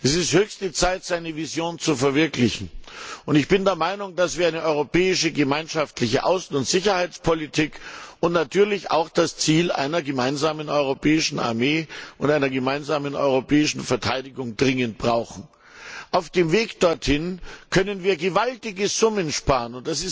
Es ist höchste Zeit, seine Vision zu verwirklichen. Ich bin der Meinung, dass wir eine europäische gemeinschaftliche Außen und Sicherheitspolitik und natürlich auch das Ziel einer gemeinsamen europäischen Armee und einer gemeinsamen europäischen Verteidigung dringend brauchen. Auf dem Weg dorthin können wir gewaltige Summen sparen.